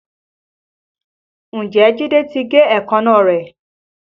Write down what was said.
Ǹjẹ́ Jide ti gé èékánná rẹ̀?